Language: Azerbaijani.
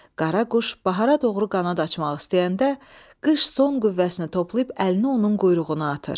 Qaraquş bahara doğru qanad açmaq istəyəndə, qış son qüvvəsini toplayıb əlini onun quyruğuna atır.